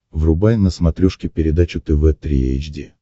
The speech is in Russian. врубай на смотрешке передачу тв три эйч ди